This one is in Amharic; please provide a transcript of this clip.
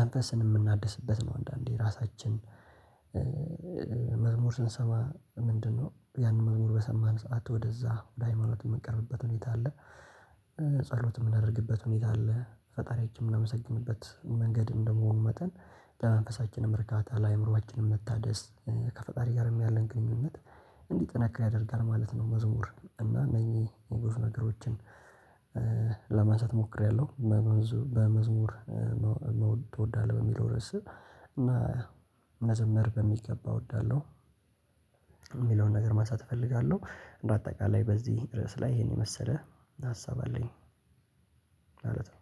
መንፈስን የምናድስበት ነው አንዳንዴ ራሳችን መዝሙር ስንሰማ ምንድነው ያንን መዝሙር በሰማን ሰዓት ወደዛ ወደ ሃይማኖት የምንቀርብበት ሁኔታ አለ። ጸሎት የምናደርግበት ሁኔታ አለ ፈጣሪያችን የምናመሰግንበት መንገድ እንደመሆኑ መጠን ለመንፈሳችንም እርካታ ለአእምሮአችንም መታደስ ከፈጣሪ ጋርም ያለን ግንኙነት እንዲህ ጥንክር ያደርጋል ማለት ነው። መዝሙር እና እነኚህ የብዙ ነገሮችን ለማንሳት ሞክሬያለሁ። በመዝሙር ትወዳለህ በሚለው ርዕስ መዘመር በሚገባ እወዳለሁ። የሚለውን ነገር ማሳተፍ እፈልጋለሁ። በአጠቃላይ በዚህ ርዕስ ላይ ይሄን የመሰለ ሀሳብ አለኝ ማለት ነው።